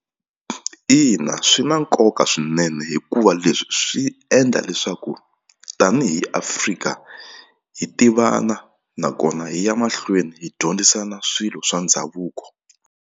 Ina swi na nkoka swinene hikuva leswi swi endla leswaku tanihi Afrika hi tivana nakona hi ya mahlweni hi dyondzisana swilo swa ndhavuko.